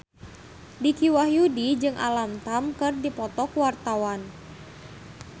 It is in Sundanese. Dicky Wahyudi jeung Alam Tam keur dipoto ku wartawan